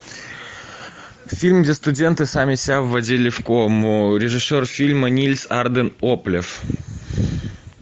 фильм где студенты сами себя вводили в кому режиссер фильма нильс арден оплев